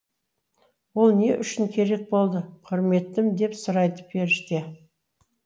ол не үшін керек болды құрметтім деп сұрайды періште